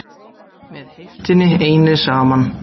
MEÐ HEIFTINNI EINNI SAMAN